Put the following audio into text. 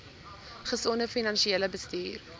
gesonde finansiële bestuur